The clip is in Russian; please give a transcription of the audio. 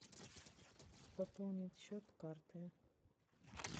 пополнить счет карты